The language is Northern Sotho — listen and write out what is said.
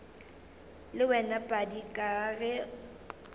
le wena padi ka ge